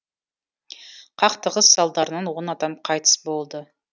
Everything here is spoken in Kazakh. қақтығыс салдарынан адам қайтыс болды